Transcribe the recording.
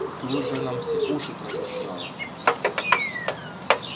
ты уже нам все уши прожужжала